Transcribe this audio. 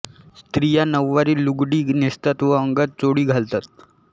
स्त्रिया नऊवारी लुगडी नेसतात व अंगात चोळी घालतात